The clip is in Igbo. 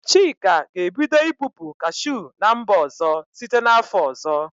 Chika ga-ebido ibupu kashụ n'mba ọzọ site n 'afọ ọzọ.